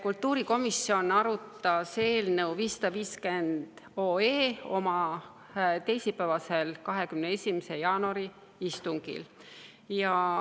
Kultuurikomisjon arutas eelnõu 550 oma teisipäevasel, 21. jaanuari istungil.